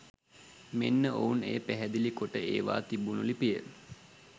මෙන්න ඔවුන් එය පැහැදිලි කොට එවා තිබුන ලිපිය.